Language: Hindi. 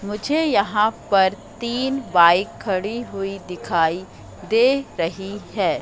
मुझे यहां पर तीन बाइक खड़ी हुई दिखाई दे रही है।